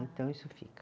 Então isso fica.